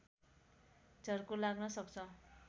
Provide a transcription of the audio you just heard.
झर्को लाग्न सक्छ